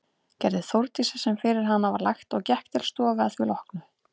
Gerði Þórdís sem fyrir hana var lagt og gekk til stofu að því loknu.